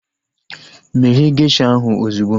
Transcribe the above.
Meghe gesha ahu ozugbo!